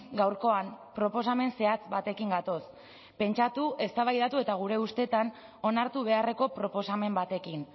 gaurkoan proposamen zehatz batekin gatoz pentsatu eztabaidatu eta gure ustetan onartu beharreko proposamen batekin